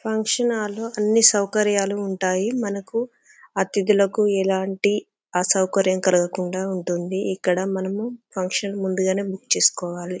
Function హాళ్ల న్నీ సౌకర్యాలు ఉంటాయి మన కు అతిధులకు ఎలాంటి అసౌకర్యం కలగా కుండా ఇక్కడ మనము ఫంక్షన్ ముందుగానే బుక్ చేసుకోవాలి.